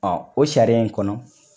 o sariya in kɔnɔ